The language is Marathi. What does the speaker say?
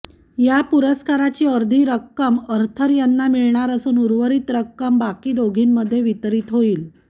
या पुरस्काराची अर्धी रक्कम आर्थर यांना मिळणार असून उर्वरीत रक्कम बाकी दोघींमध्ये वितरित होईल